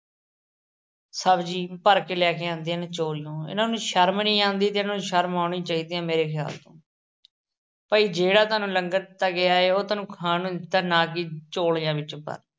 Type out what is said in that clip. ਸਬਜ਼ੀ ਭਰ ਕੇ ਲੈ ਕੇ ਆਉਂਦੀਆਂ ਹਨ ਚੋਰੀਓਂ। ਇਹਨਾਂ ਨੂੰ ਸ਼ਰਮ ਨੀ ਆਉਂਦੀ ਤੇ ਇਹਨਾਂ ਨੂੰ ਸ਼ਰਮ ਆਉਣੀ ਚਾਹੀਦੀ ਆ ਮੇਰੇ ਖ਼ਿਆਲ ਤੋਂ । ਭਾਈ ਜਿਹੜਾ ਤੁਹਾਨੂੰ ਲੰਗਰ ਦਿੱਤਾ ਗਿਆ ਏ, ਉਹ ਤੁਹਾਨੂੰ ਖਾਣ ਨੂੰ ਦਿੱਤਾ, ਨਾ ਕੀ ਝੋਲਿਆਂ ਵਿੱਚ ਭਰ ਕੇ ਲਿਜਾਉਣ ਨੂੰ।